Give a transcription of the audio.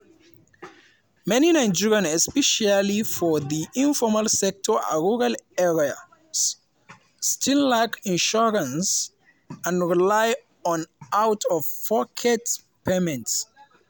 many nigerians especially for di informal sector and rural areas still lack insurance and rely on out-of-pocket payments.